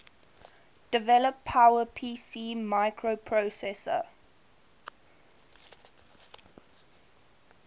develop powerpc microprocessor